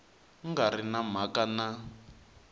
nga ri na mhaka na